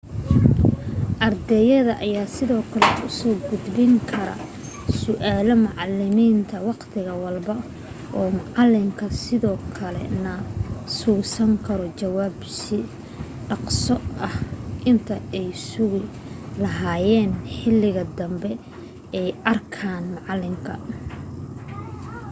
ardayda ayaa sidoo kale usoo gudbin karaan su'aalo macalimiinta waqti walbo oo maalinka sidoo kale na sugan karo jawaabo si dhaqso ah inta ay sugi lahaayeen xiliga dambe ay arkaan macalinka